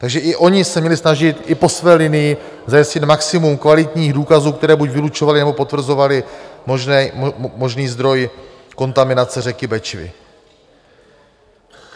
Tak i oni se měli snažit i po své linii zajistit maximum kvalitních důkazů, které buď vylučovaly, nebo potvrzovaly možný zdroj kontaminace řeky Bečvy.